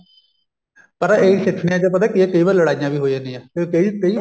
ਪਤਾ ਇਹੀ ਸਿੱਠਨੀਆਂ ਚ ਪਤਾ ਕੀ ਐ ਕਈ ਵਾਰੀ ਲੜਾਈਆਂ ਵੀ ਹੋ ਜਾਂਦੀਆਂ ਤੇ ਕਈ ਕਈ